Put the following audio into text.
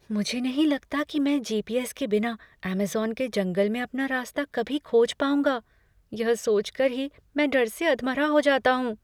मुझे नहीं लगता कि मैं जी.पी.एस. के बिना अमेज़न के जंगल में अपना रास्ता कभी खोज पाऊँगा। यह सोच कर ही मैं डर से अधमरा हो जाता हूँ।